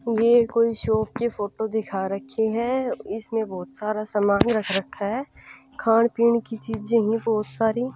ये कोई शॉप की फोटो दिखा रखी है इसमें बहुत सारा सामान रख रखा है खान पीन की चीजें हैं बहुत सारी --